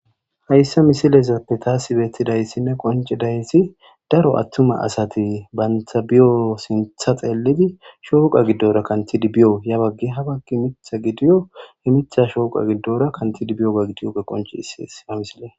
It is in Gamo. hayssa misilezappe taasi beettidayssinne qoncidayssi daro attuma asati bantha biyo sintha xeellidi shooqa giddora kantidi biyo ya baggi habakki mitha gidiyo he mitha shooqa giddora kantidi biyo ga gidiyoge qonchisis ha misile